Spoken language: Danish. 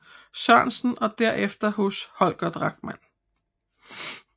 Sørensen og derefter hos Holger Drachmann